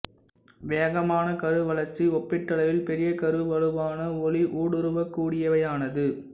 வேகமான கரு வளர்ச்சி ஒப்பீட்டளவில் பெரிய கரு வலுவான ஒளி ஊடுருவக்கூடியவையானது